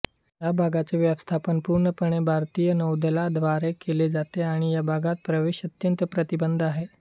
या भागाचे व्यवस्थापन पूर्णपणे भारतीय नौदलाद्वारे केले जाते आणि या भागात प्रवेश अत्यंत प्रतिबंधित आहे